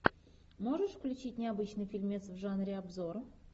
можешь включить необычный фильмец в жанре обзор